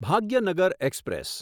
Bhagyanagar express